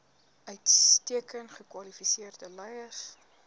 uitstekend gekwalifiseerde leiers